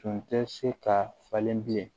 Tun tɛ se ka falen bilen